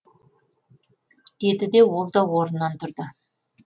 деді де ол да орнынан тұрды